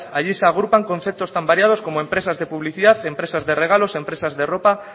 allí se agrupan conceptos tan variados como empresas de publicidad empresas de regalos empresas de ropa